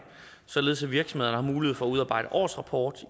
således at virksomhederne har mulighed for at udarbejde årsrapport